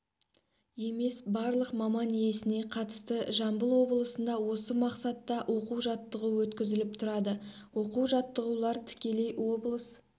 емес барлық маман иесіне қатысты жамбыл облысында осы мақсатта оқу-жаттығу өткізіліп тұрады оқу-жаттығулар тікелей облыс